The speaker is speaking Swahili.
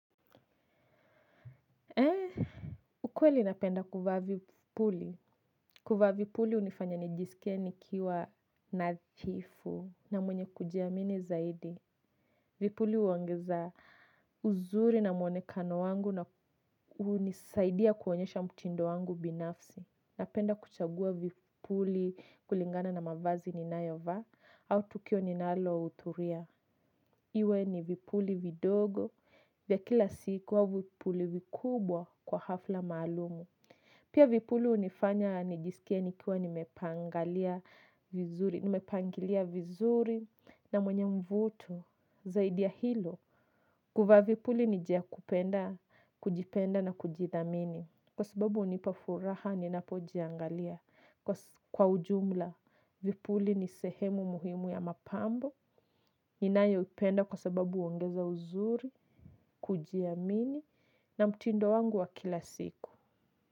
Ukweli napenda kuvaa vipuli. Kuvaa vipuli hunifanya nijisikie nikiwa nadhifu na mwenye kujiamini zaidi. Vipuli huongeza uzuri na mwonekano wangu na hunisaidia kuonyesha mtindo wangu binafsi. Napenda kuchagua vipuli kulingana na mavazi ninayovaa au tukio ninalohudhuria. Iwe ni vipuli vidogo, vya kila siku au vipuli vikubwa kwa hafla maalumu. Pia vipuli hunifanya, nijisikie nikiwa nimepangalia vizuri, nimepangilia vizuri na mwenye mvuto, zaidi ya hilo. Kuvaa vipuli ni njia ya kupenda, kujipenda na kujithamini. Kwa sababu hunipa furaha, ninapojiangalia. Kwa ujumla, vipuli ni sehemu muhimu ya mapambo. Ninayoipenda kwa sababu huongeza uzuri, kujiamini na mtindo wangu wa kila siku.